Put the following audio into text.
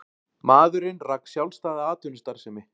Maðurinn rak sjálfstæða atvinnustarfsemi